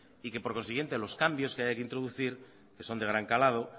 y que por consiguiente los cambios que haya que introducir que son de gran calado